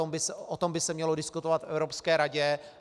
O tom by se mělo diskutovat v Evropské radě.